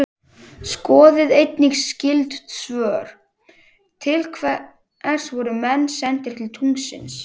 Skoðið einnig skyld svör: Til hvers voru menn sendir til tunglsins?